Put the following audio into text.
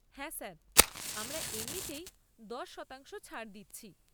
হ্যাঁ স্যার, আমরা এমনিতেই দশ শতাংশ ছাড় দিচ্ছি।